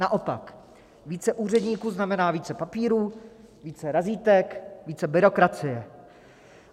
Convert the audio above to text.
Naopak, více úředníků znamená více papíru, více razítek, více byrokracie.